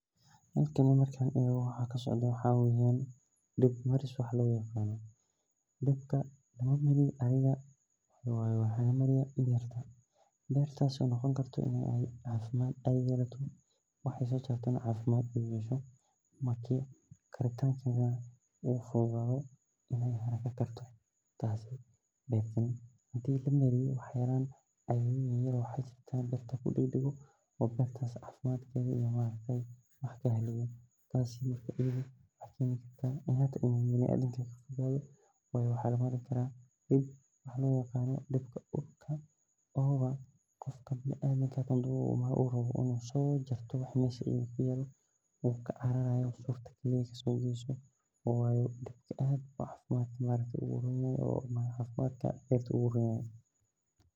Halkan markan ego waxa kasocdo waxa dib maris loyaqano, dibka waxa lamariya berta bertas oo noqoni karta in ey cafimad ey yelato waxa ey sosartana ey cafimad yeshan marka uu karana wax cafimad leeh ey karan marka hadi wax lamariyo wax kudago oo bertas cafimadkeda wax utaro tasi ayada aya keni karta in uu biniadanka keno waxa loyaqano dibka oo ah qofka biniadanka ah hadu rawo in uu sojarto waxa meesha kuyalo uu kacarayo waxa kale wayo dadka cafimadka aad ayu oguronyahay cafimad ahaan.